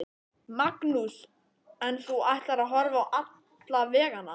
Magnús: En þú ætlar að horfa á alla veganna?